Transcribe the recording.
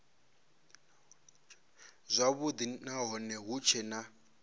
zwavhudi nahone hu tshee na